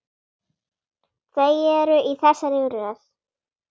Þau eru í þessari röð